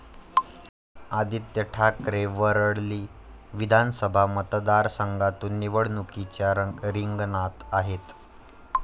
आदित्य ठाकरे वरळी विधानसभा मतदारसंघातून निवडणुकीच्या रिंगणात आहेत.